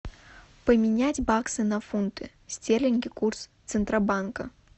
поменять баксы на фунты стерлинги курс центробанка